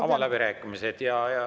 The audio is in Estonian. Avan läbirääkimised.